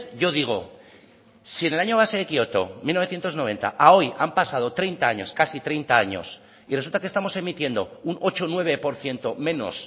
yo digo si en el año base de kioto mil novecientos noventa a hoy han pasado treinta años casi treinta años y resulta que estamos emitiendo un ocho o nueve por ciento menos